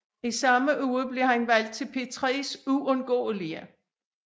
I samme uge blev den valgt til P3s Uundgåelige